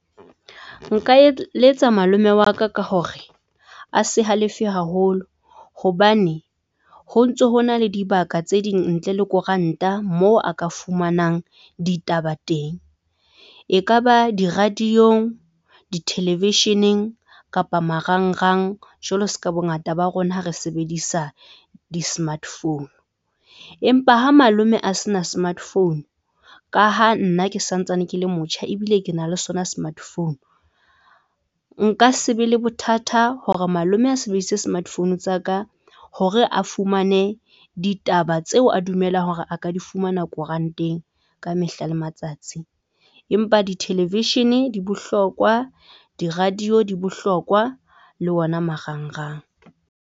Nka eletsa malome wa ka ka hore a se halefe haholo hobane ho ntso hona le dibaka tse ding ntle le koranta moo a ka fumanang ditaba teng. E ka ba di-radio-ng, di-television-eng kapa marang rang jwalo se ka bongata ba rona ha re sebedisa di-smart phone, empa ha malome a se na smart phone ka ha nna ke santsane ke le motjha ebile ke na le sona smart phone. Nka se be le bothata hore malome a sebedisitse smart phone tsa ka hore a fumane ditaba taba tseo a dumelang hore a ka di fumana koranteng ka mehla le matsatsi. Empa di-television-e di bohlokwa, di-radio, di bohlokwa le ona marang rang.